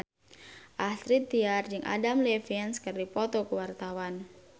Astrid Tiar jeung Adam Levine keur dipoto ku wartawan